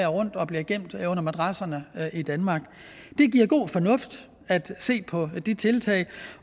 rundt og bliver gemt under madrasserne i danmark det giver god fornuft at se på de tiltag